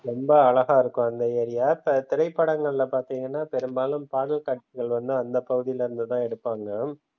ரொம்ப அழகா இருக்கும் அந்த ஏரியா தா திரைப்படங்கள்ள பார்த்தீங்கன்னா பெரும்பாலும் பாடல் காட்சிகள் வந்து அந்த பகுதியில் இருந்துதான் எடுப்பாங்க.